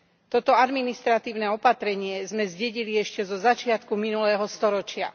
Toto administratívne opatrenie sme zdedili ešte zo začiatku minulého storočia.